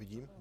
Vidím.